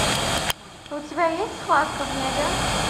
у тебя есть схватка в небе